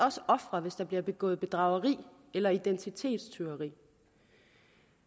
også ofre hvis der bliver begået bedrageri eller identitetstyveri